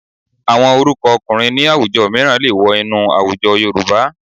Àwọn orúkọ ọkùnrin ní àwùjọ mìíràn lè wọ inú àwùjọ Yorùbá